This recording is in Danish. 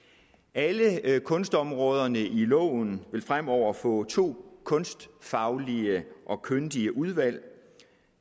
alle kunstområderne i loven vil fremover få to kunstfaglige og kyndige udvalg